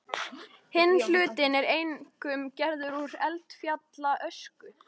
Hinn hlutinn er einkum gerður úr eldfjallaösku.